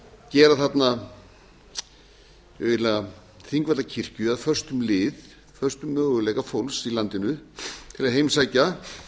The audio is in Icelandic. gera þarna eiginlega þingvallakirkju að föstum lið föstum möguleika fólks í landinu til að heimsækja